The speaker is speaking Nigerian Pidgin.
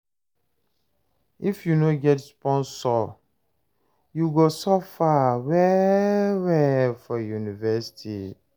If you no get sponsor, you go suffer well-well for university.